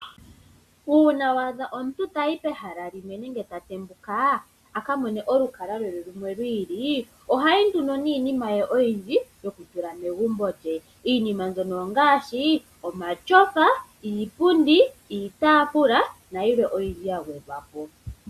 Uuna waadha omuntu tayi pehala limwe nenge ta tembuka akamone olukalwa lwe lumwe lwiili ohayi nduno niinima ye oyindji yokutula megumbo lye. Iinima mbyono ongaashi omatyofa, iipundi, iitafula nayilwe oyindji ya gwedhwapo.